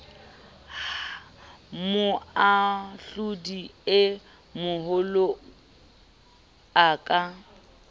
moahlodi e moholo a ka